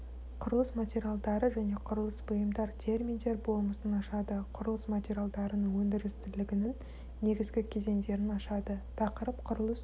құрылыс материалдары және құрылыс бұйымдар терминдер болмысын ашады құрылыс материалдарының өндірістілігінің негізгі кезеңдерін ашады тақырып құрылыс